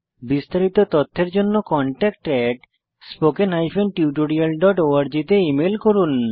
বিস্তারিত তথ্যের জন্য contactspoken tutorialorg তে ইমেল করুন